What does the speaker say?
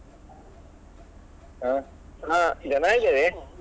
ಹಾ ಜನ ಇದ್ದೇವೆ.